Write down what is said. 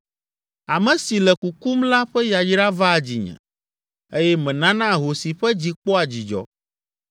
Ame si le kukum la ƒe yayra vaa dzinye eye menana ahosi ƒe dzi kpɔa dzidzɔ.